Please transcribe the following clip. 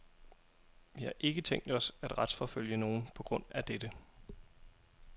Vi har ikke tænkt os at retsforfølge nogen på grund af dette.